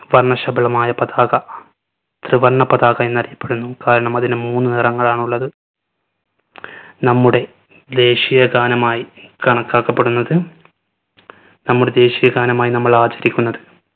വർണ്ണശബളമായ പതാക ത്രിവർണ പതാക എന്ന് അറിയപ്പെടുന്നു. കാരണം അതിന് മൂന്ന് നിറങ്ങളാണുള്ളത്. നമ്മുടെ ദേശിയ ഗാനമായി കണക്കാക്കപ്പെടുന്നത് നമ്മുടെ ദേശിയ ഗാനമായി നമ്മൾ ആചരിക്കുന്നത്